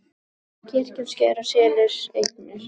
Kirkjan sker og selur eignir